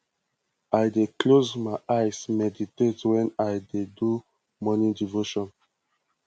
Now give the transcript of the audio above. i dey close my eyes meditate wen i dey do morning devotion